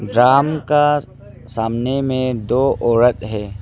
राम का सामने में दो औरत है।